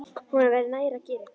Honum væri nær að gera eitthvað.